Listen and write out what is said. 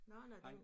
Nå nå den